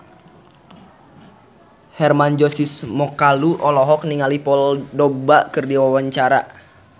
Hermann Josis Mokalu olohok ningali Paul Dogba keur diwawancara